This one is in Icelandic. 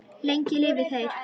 Lengi lifi þeir!